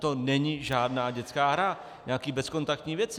To není žádná dětská hra, nějaké bezkontaktní věci.